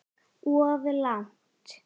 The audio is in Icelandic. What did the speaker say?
Of langt.